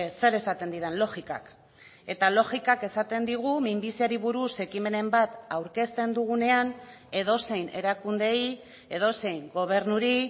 zer esaten didan logikak eta logikak esaten digu minbiziari buruz ekimenen bat aurkezten dugunean edozein erakundeei edozein gobernuri